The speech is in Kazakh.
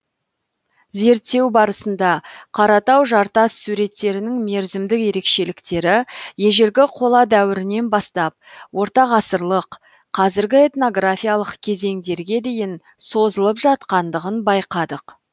зерттеу барысында қаратау жартас суреттерінің мерзімдік ерекшеліктері ежелгі қола дәуірінен бастап ортағасырлық қазіргі этнографиялық кезеңдерге дейін созылып жатқандығын байқадық